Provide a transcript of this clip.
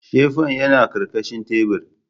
Sefen ka yana karkashin tabir